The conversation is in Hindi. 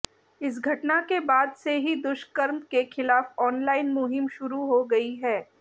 इस घटना के बाद से ही दुष्कर्म के खिलाफ ऑनलाइन मुहिम शुरू हो गई है